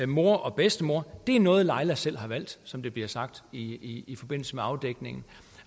mor og bedstemor det er noget laila selv har valgt som det bliver sagt i i forbindelse med afdækningen